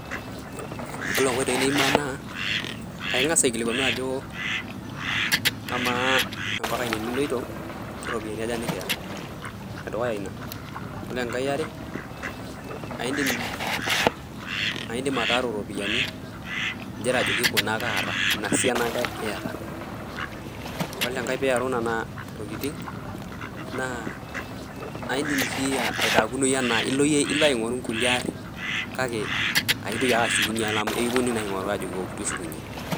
Koree nkoitoi niimaa naa; aingas' aikilikwanu ajo amaa ampaka ine niloito, karopiyiani aja nikiya. Ene dukuya ina. kore engai eare, aindim ataaru ropiyiani ingira ajoki kuna ake aaata, inia siana ake iata. Kore engai piiaru nena tokitin, naa aindim sii aitaakunoi enaa ilo yie aingoruu kulie aarin, kake aaintoki ake ashukunyie amu ekiponunui naa aingoruu ajo 'wou',tushukunye.